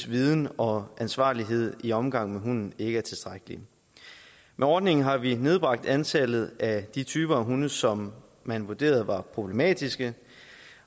viden og ansvarlighed ved omgang med hunden ikke er tilstrækkelig med ordningen har vi nedbragt antallet af de typer af hunde som man vurderer problematiske